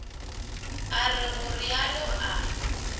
a re go realo a